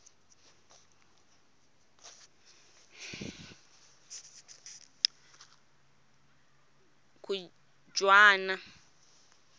khujwana